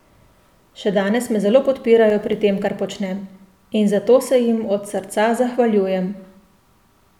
Še danes me zelo podpirajo pri tem, kar počnem, in za to se jim od srca zahvaljujem.